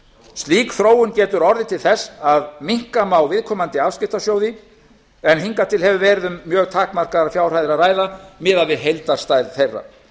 slík þróun getur orðið til þess að minnka má viðkomandi afskriftasjóði en hingað til hefur verið um mjög takmarkaðar fjárhæðir að ræða miðað við heildarstærð þeirra